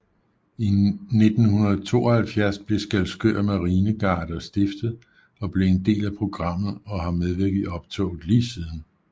I 1972 blev Skælskør Marinegarde stiftet og blev en del af programmet og har medvirket i optoget lige siden